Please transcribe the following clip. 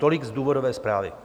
Tolik z důvodové zprávy.